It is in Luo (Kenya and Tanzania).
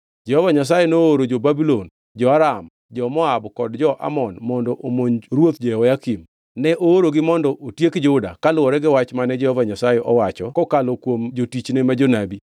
Jehova Nyasaye nooro jo-Babulon, jo-Aram, jo-Moab kod jo-Amon mondo omonj ruoth Jehoyakim. Ne oorogi mondo otiek Juda, kaluwore gi wach mane Jehova Nyasaye owacho kokalo kuom jotichne ma jonabi.